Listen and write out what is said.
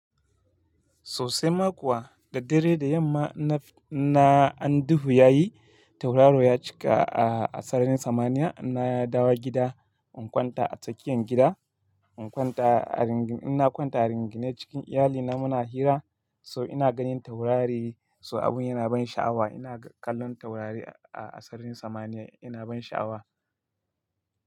Sosai ma kuwa, da dare, da yamma na, na, an duhu ya yi, tauraro ya cika a, a sararin samaniya. Na dawo gida in kwanta a tsakiyar gida, in kwanta a ringi, ina kwanta a ringinai cikin iyalina muna hira so ina ganin taurari so abun yana ban sha'awa. Ina kallon taurari a, a sararin samaniya yana ban sha'awa.